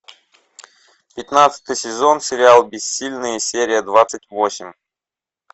пятнадцатый сезон сериал бессильные серия двадцать восемь